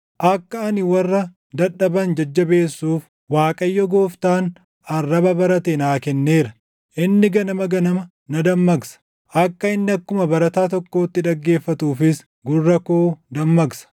Akka ani warra dadhaban jajjabeessuuf, Waaqayyo Gooftaan arraba barate naa kenneera. Inni ganama ganama na dammaqsa; akka inni akkuma barataa tokkootti dhaggeeffatuufis // gurra koo dammaqsa.